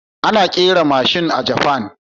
Ana kera mashin a ƙasar Japan